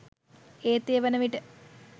ඒත් ඒ වනවිට